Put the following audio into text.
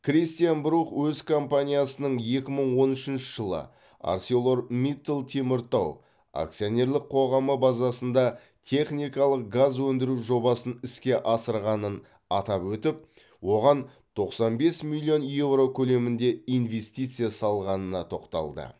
кристиан брух өз компаниясының екі мың он үшінші жылы арселор миттал теміртау акционерлік қоғамы базасында техникалық газ өндіру жобасын іске асырғанын атап өтіп оған тоқсан бес миллион еуро көлемінде инвестиция салғанына тоқталды